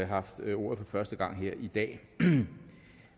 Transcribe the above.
haft ordet for første gang her i dag